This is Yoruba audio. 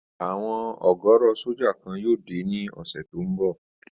Àwọn ọ̀gọ̀rọ̀ sójà kan yóò dé ní ọ̀sẹ̀ tó n bọ̀